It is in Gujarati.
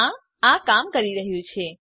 હા આ કામ કરી રહ્યું છે